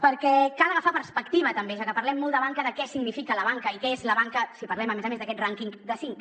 perquè cal agafar perspectiva també ja que parlem molt de banca de què significa la banca i què és la banca si parlem a més a més d’aquest rànquing de cinc